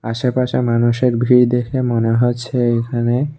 আশেপাশে মানুষের ভিড় দেখে মনে হচ্ছে এখানে--